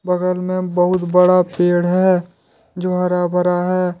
बगल में बहुत बड़ा पेड़ है जो हरा भरा है।